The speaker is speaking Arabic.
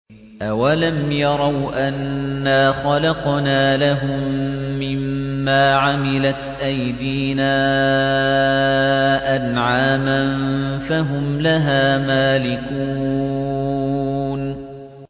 أَوَلَمْ يَرَوْا أَنَّا خَلَقْنَا لَهُم مِّمَّا عَمِلَتْ أَيْدِينَا أَنْعَامًا فَهُمْ لَهَا مَالِكُونَ